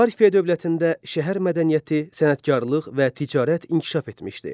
Parfiya dövlətində şəhər mədəniyyəti, sənətkarlıq və ticarət inkişaf etmişdi.